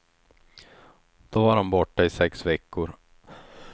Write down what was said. Då var han borta i sex veckor.